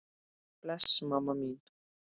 Bless mamma mín.